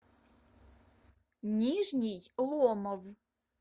нижний ломов